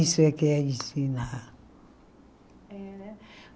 Isso é que é ensinar. É né